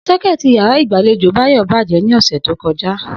So̩ké̩è̩tì yàrá ìgbàlejò Báyò̩ bàjé̩ ní ò̩sè̩ tó ko̩já